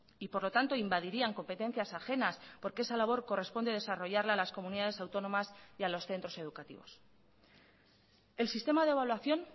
y por lo tanto invadirían competencias ajenas porque esa labor corresponde desarrollarla las comunidades autónomas y a los centros educativos el sistema de evaluación